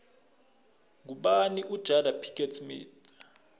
ngubani ujada pickett smith